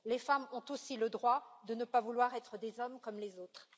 Les femmes ont aussi le droit de ne pas vouloir être des hommes comme les autres.